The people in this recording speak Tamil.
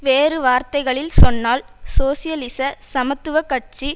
வேறு வார்த்தைகளில் சொன்னால் சோசியலிச சமத்துவ கட்சி